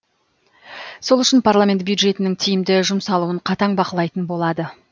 сол үшін парламент бюджетінің тиімді жұмсалуын қатаң бақылайтын болады